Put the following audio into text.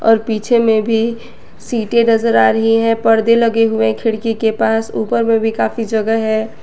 और पीछे में भी सीटे नजर आ रही है परदे लगे हुए है खिड़की के पास ऊपर में भी काफी जगह है।